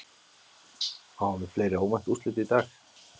Fáum við fleiri óvænt úrslit í dag?